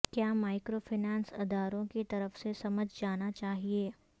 کیا مائیکروفنانس اداروں کی طرف سے سمجھ جانا چاہئے